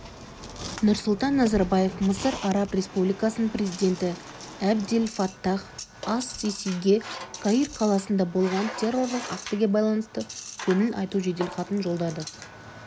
нұрсұлтан назарбаев мысыр араб республикасының президенті әбдел фаттах ас-сисиге каир қаласында болған террорлық актіге байланысты көңіл айту жеделхатын жолдады